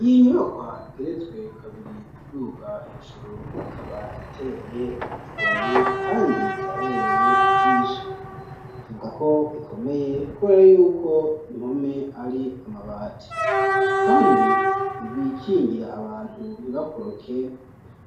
Iyi nyubakwa igeretswe kabiri uduga hejuru ikaba iteye igomwe, kandi irabereye ijisho, tuvuga ko ikomeye kubera y'uko impome ari amabati, kandi ibikingira abantu ntibakoroke